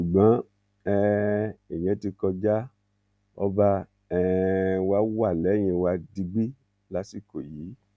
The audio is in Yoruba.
ṣùgbọn um ìyẹn ti kọjá ọba um wa wà lẹyìn wa digbí lásìkò yìí